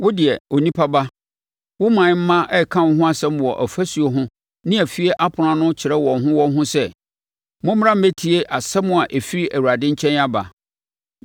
“Wo deɛ, onipa ba, wo ɔman mma reka wo ho nsɛm wɔ afasuo ho ne afie apono ano kyerɛ wɔn ho wɔn ho sɛ, ‘Mommra mmɛtie asɛm a ɛfiri Awurade nkyɛn aba.’